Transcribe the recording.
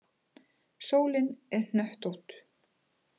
Sólin er hnöttótt